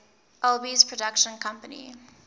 alby's production company